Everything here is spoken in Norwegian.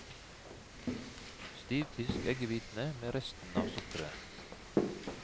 Stivpisk eggehvitene med resten av sukkeret.